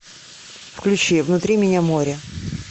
включи внутри меня море